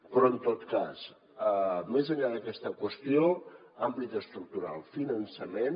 però en tot cas més enllà d’aquesta qüestió àmbit estructural finançament